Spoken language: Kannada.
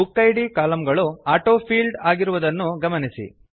ಬುಕಿಡ್ ಕಾಲಂ ಗಳು ಆಟೋಫೀಲ್ಡ್ ಆಗಿರುವುದನ್ನು ಗಮನಿಸಿ